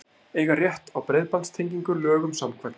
Eiga rétt á breiðbandstengingu lögum samkvæmt